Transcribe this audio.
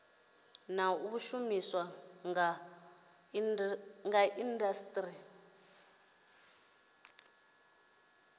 na u shumiswa kha indasiteri